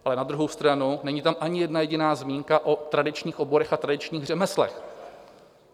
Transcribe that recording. Ale na druhou stranu, není tam ani jedna jediná zmínka o tradičních oborech a tradičních řemeslech.